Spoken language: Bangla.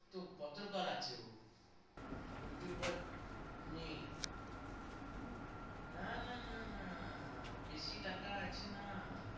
তো পত্রকার আছে ও, youtuber নেই। না না না না, বেশি টাকা আছে না।